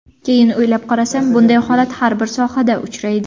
Keyin o‘ylab qarasam, bunday holat har bir sohada uchraydi.